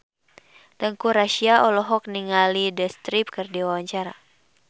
Teuku Rassya olohok ningali The Script keur diwawancara